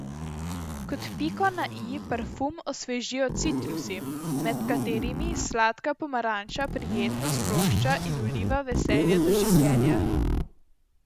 Kot piko na i parfum osvežijo citrusi, med katerimi sladka pomaranča prijetno sprošča in vliva veselje do življenja.